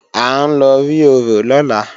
À ń lọ rí orò lọ́la